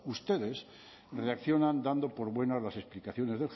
ustedes reaccionan dando por buenas las explicaciones